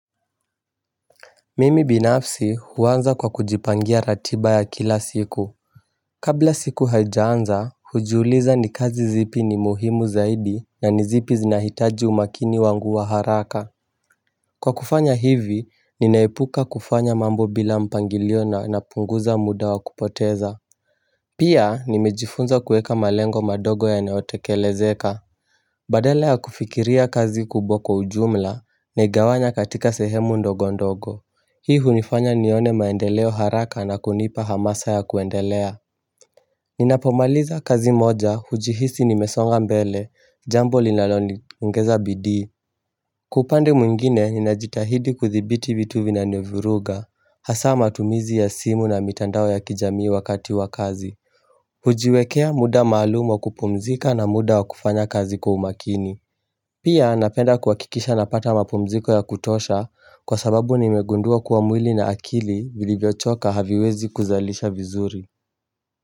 Mimi binafsi huanza kwa kujipangia ratiba ya kila siku Kabla siku haijaanza hujuuliza ni kazi zipi ni muhimu zaidi na ni zipi zinahitaji umakini wangu wa haraka Kwa kufanya hivi ninaipuka kufanya mambo bila mpangilio na napunguza muda wa kupoteza Pia nimejifunza kueka malengo madogo yanayotekelezeka Badala ya kufikiria kazi kubwa kwa ujumla naigawanya katika sehemu ndogo ndogo Hii hunifanya nione maendeleo haraka na kunipa hamasa ya kuendelea Ninapomaliza kazi moja, hujihisi nimesonga mbele, jambo linaloniongeza bidii Kwa upande mwingine, ninajitahidi kuthibiti vitu vinanivuruga Hasaa matumizi ya simu na mitandao ya kijamii wakati wa kazi kujiwekea muda maalum wa kupumzika na muda wa kufanya kazi kwa umakini Pia napenda kuhakikisha napata mapumziko ya kutosha Kwa sababu nimegundua kuwa mwili na akili vilivyochoka haviwezi kuzalisha vizuri.